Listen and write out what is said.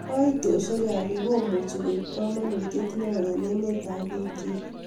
Kaitoshek ab pik komuchi koip kamanutyet neo eng emet ak pik chik